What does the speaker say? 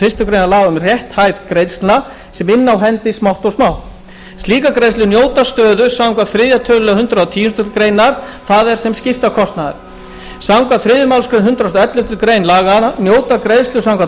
fyrstu grein laganna um rétthæð greiðslna sem inna á af hendi smátt og smátt slíkar greiðslur njóta stöðu samkvæmt þriðja tölulið hundrað og tíundu greinar það er sem skiptakostnaður samkvæmt þriðju málsgrein hundrað og elleftu grein laganna njóta greiðslur samkvæmt